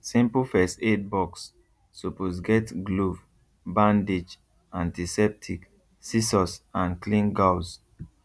simple first aid box suppose get glove bandage antiseptic scissors and clean gauze